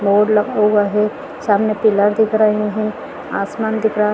--और लगा हुआ है सामने कूलर दिख रहे है आसमान दिख रहा--